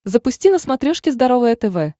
запусти на смотрешке здоровое тв